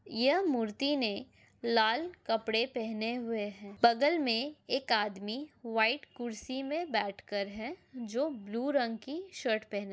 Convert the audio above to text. यह मूर्ति ने लाल कपड़े पहने हुए हैं बगल में एक आदमी वाइट कुर्सी में बैठ कर जो ब्लू रंग की शर्ट पह --